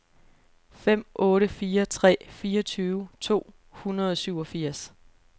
fem otte fire tre fireogtyve to hundrede og syvogfirs